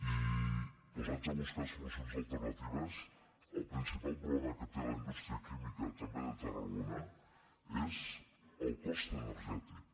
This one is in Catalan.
i posats a buscar solucions alternatives el principal problema que té la indústria química també de tarragona és el cost energètic